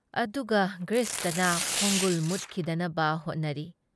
ꯑꯗꯨꯒ ꯒ꯭ꯔꯤꯁꯇꯅ ꯈꯣꯡꯒꯨꯜ ꯃꯨꯠꯈꯤꯗꯅꯕ ꯍꯣꯠꯅꯔꯤ ꯫